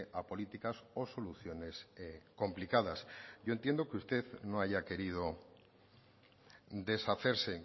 a políticas o soluciones complicadas yo entiendo que usted no haya querido deshacerse